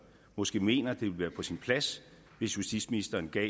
måske mener at det ville være på sin plads hvis justitsministeren gav